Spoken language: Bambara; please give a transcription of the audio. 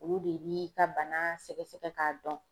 Olu de b'i ka bana sɛgɛsɛgɛ ka dɔn.